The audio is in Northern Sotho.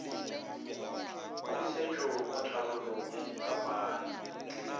pusetšo mo tharollong ya diphapano